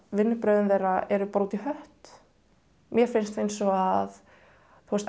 vinnubrögðin þeirra eru bara út í hött mér finnst eins og að